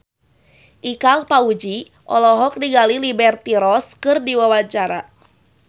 Ikang Fawzi olohok ningali Liberty Ross keur diwawancara